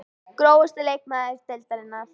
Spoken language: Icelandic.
Grófasti leikmaður deildarinnar?